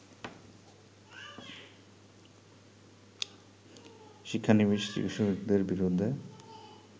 শিক্ষানবিস চিকিৎসকদের বিরুদ্ধে